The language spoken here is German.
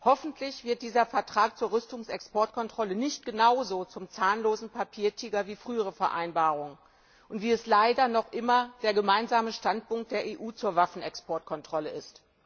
Hoffentlich wird dieser Vertrag zur Rüstungsexportkontrolle nicht genauso zum zahnlosen Papiertiger wie frühere Vereinbarungen und wie es leider noch immer der Gemeinsame Standpunkt der EU zur Waffenexportkontrolle ist.